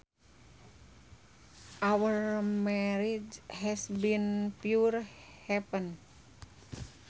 Our marriage has been pure heaven